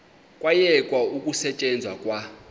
kwayekwa ukusetyenzwa kwa